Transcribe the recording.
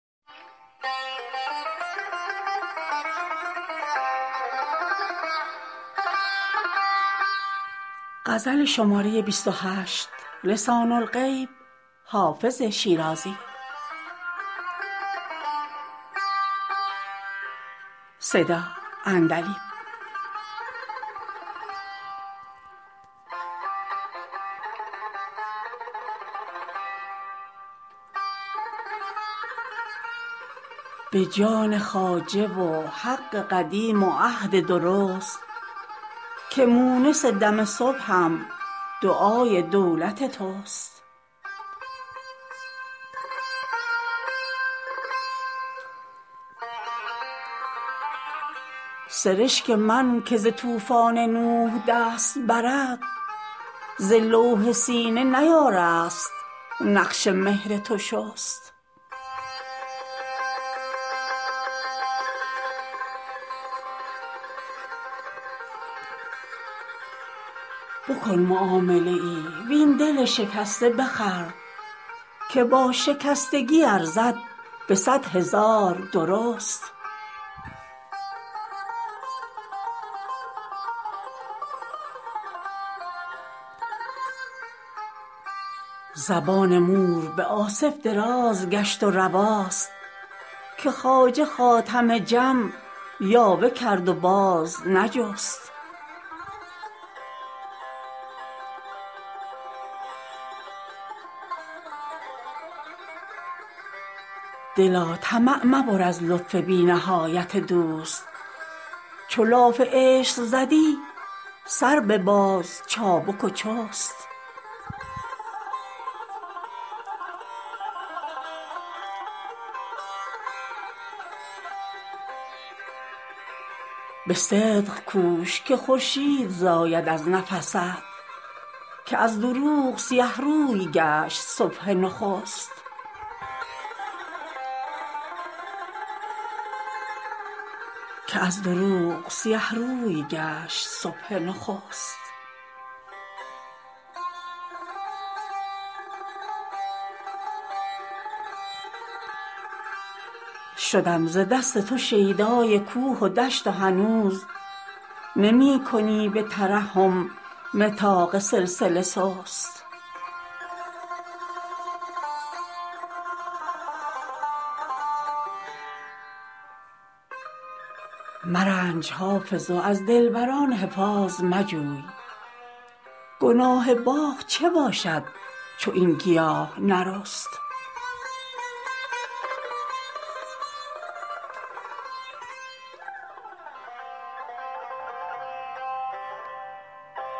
به جان خواجه و حق قدیم و عهد درست که مونس دم صبحم دعای دولت توست سرشک من که ز طوفان نوح دست برد ز لوح سینه نیارست نقش مهر تو شست بکن معامله ای وین دل شکسته بخر که با شکستگی ارزد به صد هزار درست زبان مور به آصف دراز گشت و رواست که خواجه خاتم جم یاوه کرد و باز نجست دلا طمع مبر از لطف بی نهایت دوست چو لاف عشق زدی سر بباز چابک و چست به صدق کوش که خورشید زاید از نفست که از دروغ سیه روی گشت صبح نخست شدم ز دست تو شیدای کوه و دشت و هنوز نمی کنی به ترحم نطاق سلسله سست مرنج حافظ و از دلبر ان حفاظ مجوی گناه باغ چه باشد چو این گیاه نرست